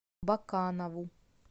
баканову